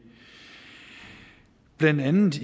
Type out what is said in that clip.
blandt andet